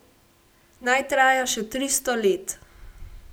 Naj traja še tristo let!